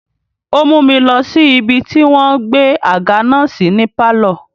Ó mú mi lọ sí ibi tí wọ́n gbé àga náà sí ní pálọ̀.